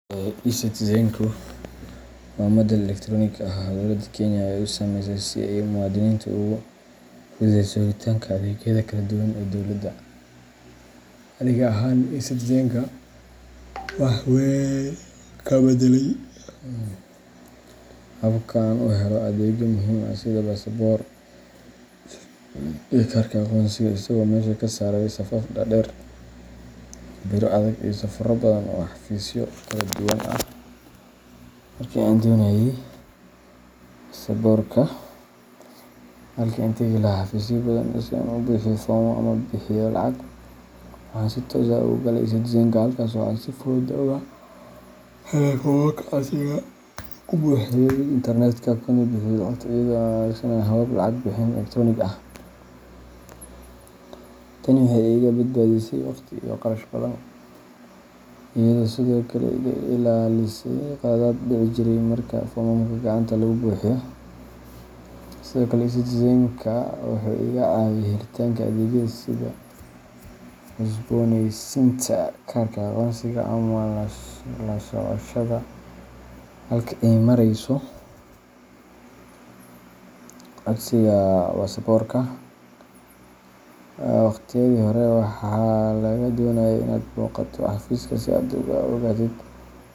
eCitizen waa madal elektaroonik ah oo dowladda Kenya ay u sameysay si ay muwaadiniinta ugu fududeyso helitaanka adeegyada kala duwan ee dowladda. Aniga ahaan, eCitizenka wuxuu wax weyn ka beddelay habka aan u helo adeegyo muhiim ah sida baasaboorka iyo kaarka aqoonsiga, isagoo meesha ka saaray safaf dhaadheer, biro adag, iyo safarro badan oo xafiisyo kala duwan ah. Markii aan doonayay baasaboorka, halkii aan tagi lahaa xafiisyo badan si aan u buuxiyo foomam ama u bixiyo lacag, waxaan si toos ah ugu galay eCitizenka, halkaas oo aan si fudud uga helay foomamka codsiga, ku buuxiyay internetka, kuna bixiyay lacagta iyadoo la adeegsanayo habab lacag bixin elektaroonik ah. Tani waxay iga badbaadisay waqti iyo kharash badan, iyadoo sidoo kale iga ilaalisay khaladaad dhici jiray marka foomamka gacanta lagu buuxiyo. Sidoo kale, eCitizenka wuxuu iga caawiyay helitaanka adeegyo kale sida cusboonaysiinta kaarka aqoonsiga ama la socoshada halka ay marayso codsiga baasaboorka. Waqtiyadii hore, waxaa lagaa doonayay inaad booqato xafiiska si aad u ogaatid.